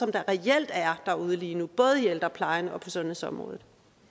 reelt er derude lige nu både i ældreplejen og på sundhedsområdet